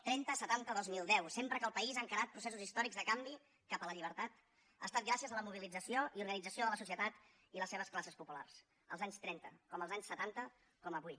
trenta setanta dos mil deu sempre que el país ha encarat processos històrics de canvi cap a la llibertat ha estat gràcies a la mobilització i organització de la societat i les seves classes populars als anys trenta com als anys setanta com avui